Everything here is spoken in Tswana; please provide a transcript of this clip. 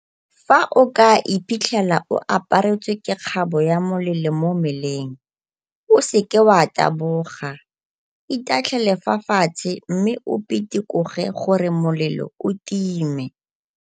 Fa o ka iphitlhela o aparetswe ke kgabo ya molelo mo mmeleng, o seke wa taboga, itatlhele fa fatshe mme o pitikoge gore molelo o time.